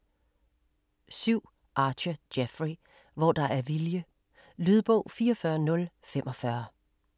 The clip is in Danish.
7. Archer, Jeffrey: Hvor der er vilje Lydbog 44045